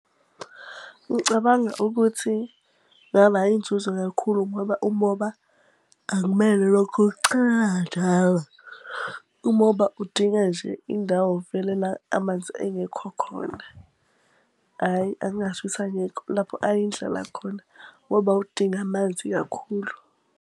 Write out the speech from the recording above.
Ngicabanga ukuthi ngaba inzuzo kakhulu ngoba umoba akumele ulokhu uwuchelela njalo. Umoba udinga nje indawo vele la amanzi engekho khona, hhayi angasho ukuthi angekho. Lapho ayindlala khona ngoba uwudingi amanzi kakhulu.